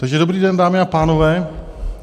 Takže dobrý den, dámy a pánové.